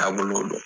Taabolo don